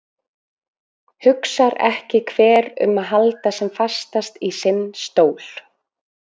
Hugsar ekki hver um að halda sem fastast í sinn stól?